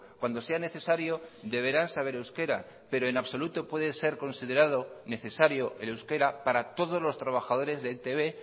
cuando sea necesario deberán saber euskera pero en absoluto puede ser considerado necesario el euskera para todos los trabajadores de e i te be